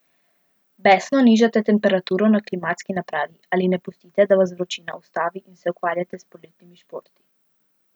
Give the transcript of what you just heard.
Besno nižate temperaturo na klimatski napravi ali ne pustite, da vas vročina ustavi in se ukvarjate s poletnimi športi?